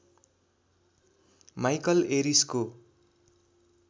Michael एरिसको